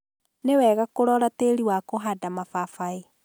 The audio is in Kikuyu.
Nĩwega kũrora tĩĩri wa kũhanda mababaĩ.